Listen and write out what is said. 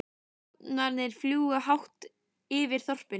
Hrafnarnir fljúga hátt yfir þorpinu.